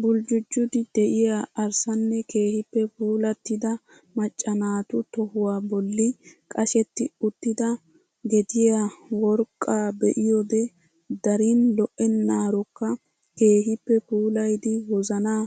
Buljujjidi de'iyaa arssanne keehippe puulattida macca naatu tohuwaa bolli qashetti uttida gediyaa worqqaa be'iyoode darin lo"enaarokka keehippe puulayidi wozanaa